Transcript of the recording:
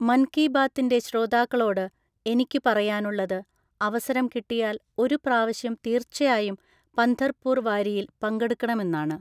മന്‍ കീ ബാത്തിന്‍റെ ശ്രോതാക്കളോട് എനിക്കു പറയാനുള്ളത് അവസരം കിട്ടിയാല്‍ ഒരു പ്രാവശ്യം തീര്‍ച്ചയായും പന്ധര്‍പൂര്‍ വാരിയില്‍ പങ്കെടുക്കണമെന്നാണ്.